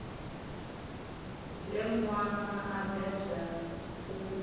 ḽe nwana a bebwa u